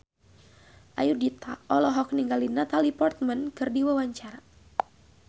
Ayudhita olohok ningali Natalie Portman keur diwawancara